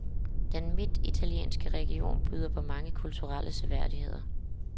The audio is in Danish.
Den midtitalienske region byder på mange kulturelle seværdigheder.